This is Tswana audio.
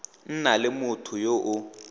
nna le motho yo o